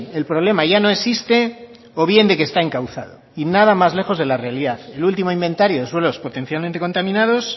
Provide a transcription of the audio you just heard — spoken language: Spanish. el problema ya no existe o bien de que está encauzado y nada más lejos de la realidad el último inventario de suelos potencialmente contaminados